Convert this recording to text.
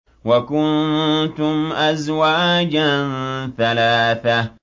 وَكُنتُمْ أَزْوَاجًا ثَلَاثَةً